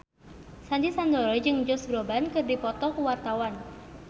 Sandy Sandoro jeung Josh Groban keur dipoto ku wartawan